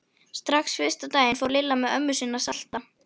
Strax fyrsta daginn fór Lilla með ömmu sinni að salta.